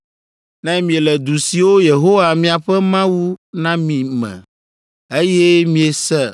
“Ne miele du siwo Yehowa miaƒe Mawu na mi me, eye miese